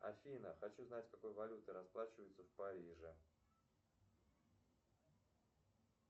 афина хочу знать какой валютой расплачиваются в париже